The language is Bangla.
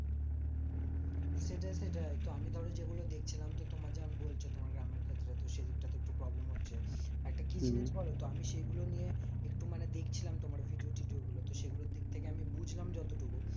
সেটাই সেটাই তো আমি ধরো যেগুলো দেখছিলাম, তো তোমার যেমন বলছো তোমার গ্রামের ক্ষেত্রে তো সেদিকটা তে একটু problem হচ্ছে। একটা কি জিনিস বলতো? আমি সেগুলো নিয়ে একটু মানে দেখছিলাম তোমার video টিডিও গুলো। তো সেগুলোর দিক থেকে আমি বুঝলাম যত টুকু,